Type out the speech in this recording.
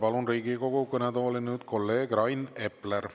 Palun nüüd Riigikogu kõnetooli kolleeg Rain Epleri.